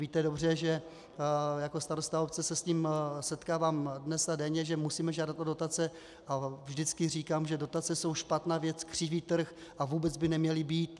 Víte dobře, že jako starosta obce se s tím setkávám dnes a denně, že musím žádat o dotace, a vždycky říkám, že dotace jsou špatná věc, křiví trh a vůbec by neměly být.